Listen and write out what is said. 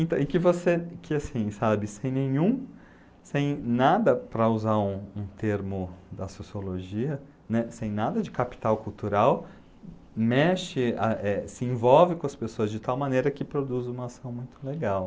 Então, e que você, que assim, sabe, sem nenhum, sem nada para usar um um termo da sociologia, né, assim, nada de capital cultural, mexe, ah eh, se envolve com as pessoas de tal maneira que produz uma ação muito legal.